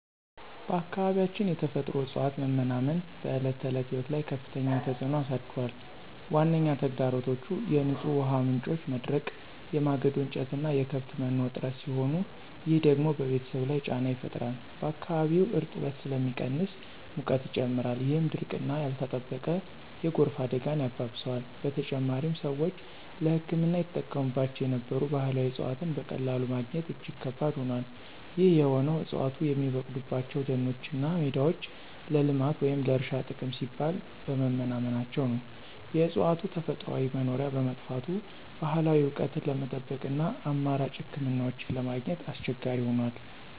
በአካባቢያችን የተፈጥሮ እፅዋት መመናመን በዕለት ተዕለት ሕይወት ላይ ከፍተኛ ተጽዕኖ አሳድሯል። ዋነኛ ተግዳሮቶቹ የንጹህ ውሃ ምንጮች መድረቅ፣ የማገዶ እንጨትና የከብት መኖ እጥረት ሲሆኑ፣ ይህ ደግሞ በቤተሰብ ላይ ጫና ይፈጥራል። በአካባቢውም እርጥበት ስለሚቀንስ ሙቀት ይጨምራል፣ ይህም ድርቅና ያልተጠበቀ የጎርፍ አደጋን ያባብሰዋል። በተጨማሪም፣ ሰዎች ለሕክምና ይጠቀሙባቸው የነበሩ ባህላዊ እፅዋትን በቀላሉ ማግኘት እጅግ ከባድ ሆኗል። ይህ የሆነው ዕፅዋቱ የሚበቅሉባቸው ደኖችና ሜዳዎች ለልማት ወይም ለእርሻ ጥቅም ሲባል በመመናመናቸው ነው። የእፅዋቱ ተፈጥሯዊ መኖሪያ በመጥፋቱ፣ ባህላዊ እውቀትን ለመጠበቅና አማራጭ ሕክምናዎችን ለማግኘት አስቸጋሪ ሆኗል።